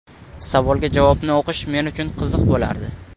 Savolga javobni o‘qish men uchun qiziq bo‘lardi.